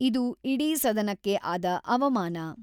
ಇದು ಇಡೀ ಸದನಕ್ಕೆ ಆದ ಅವಮಾನ.